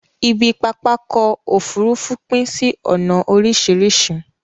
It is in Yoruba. Ibi pápákọ̀ ofúrufú pín sí ònà oríṣìríṣi